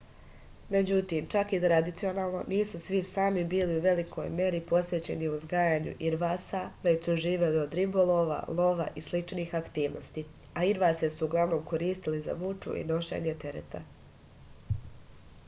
međutim čak i tradicionalno nisu svi sami bili u velikoj meri posvećeni uzgajanju irvasa već su živeli od ribolova lova i sličnih aktivnosti a irvase su uglavnom koristili za vuču i nošenje tereta